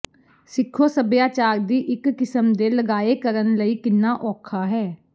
ਸਿੱਖੋ ਸਭਿਆਚਾਰ ਦੀ ਇੱਕ ਕਿਸਮ ਦੇ ਲਗਾਏ ਕਰਨ ਲਈ ਕਿੰਨਾ ਔਖਾ ਹੈ